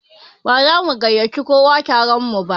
Ba za mu gaiyaci kowa taron mu ba